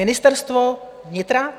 Ministerstvo vnitra?